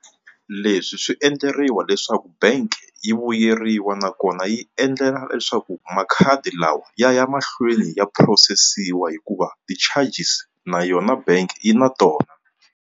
Leswi swi endleriwa leswaku bank yi vuyeriwa nakona yi endlela leswaku makhadi lawa ya ya mahlweni ya phurosesiwa hikuva ti-charges na yona bank yi na tona.